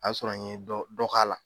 A y'a sɔrɔ n ye dɔ dɔ k'a la.